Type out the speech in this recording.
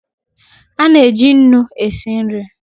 Ana-eji nnu e si nri